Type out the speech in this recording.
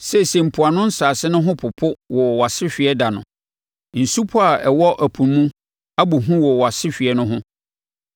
Seesei, mpoano nsase no ho popo wɔ wʼasehweɛ ɛda no; nsupɔ a ɛwɔ ɛpo mu no abɔ hu wɔ wʼasehweɛ no ho.’